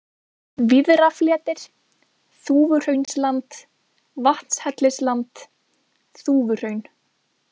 Víðrafletir, Þúfuhraunsland, Vatnshellisland, Þúfuhraun